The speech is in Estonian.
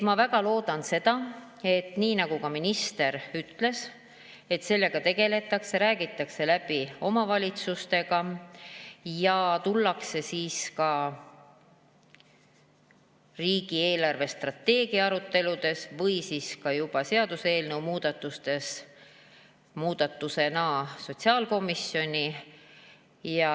Ma väga loodan, nii nagu ka minister ütles, et sellega tegeldakse, räägitakse läbi omavalitsustega ja tullakse ka riigi eelarvestrateegia aruteludes või juba seaduseelnõu muudatustega sotsiaalkomisjoni.